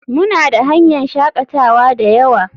Muna da hanyan shakatawa dayawa.